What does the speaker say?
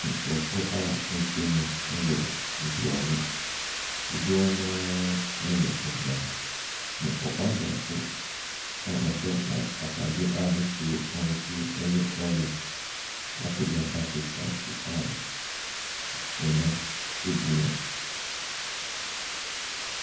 Nkorɔfoɔ a ahyia mu ɛwɔ mpoano, dodoɔ no ara ɛyɛ mmaa, na ɔbaa baako a ɔhyɛ ta ataade bi a no soro ahosuo ɛyɛ orange apagya bucket baako a f ɛnam agu mu.